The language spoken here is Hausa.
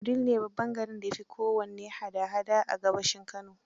Wudil ne garin da ya fi kowanne hada hada a gabashin Kano